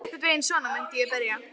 Einhvern veginn svona myndi ég byrja.